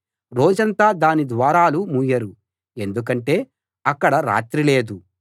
రోజంతా దాని ద్వారాలు మూయరు ఎందుకంటే అక్కడ రాత్రి లేదు